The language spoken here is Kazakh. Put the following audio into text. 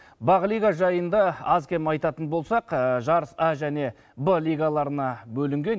бақ лига жайында аз кем айтатын болсақ жарыс а және б лигаларына бөлінген